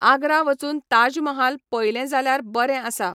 आग्रा वचून ताज महाल पयलें जाल्यार बरें आसा.